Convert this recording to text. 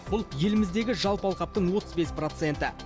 бұл еліміздегі жалпы алқаптың отыз бес проценті